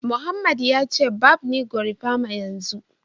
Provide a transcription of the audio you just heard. Mohammed ya ce barb ni gorimapa yanzu